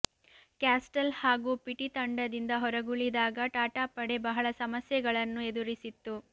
castle ಹಾಗೂ ಪಿಟಿ ತಂಡದಿಂದ ಹೊರಗುಳಿದಾಗ ಟಾಟಾ ಪಡೆ ಬಹಳ ಸಮಸ್ಯೆಗಳನ್ನು ಎದುರಿಸಿತ್ತು